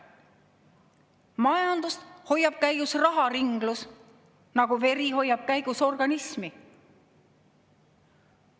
Majandust hoiab käigus raharinglus, nagu vere hoiab käigus organismi.